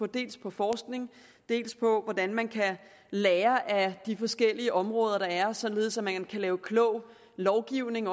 dels på forskning og dels på hvordan man kan lære af de forskellige områder der er således at man kan lave klog lovgivning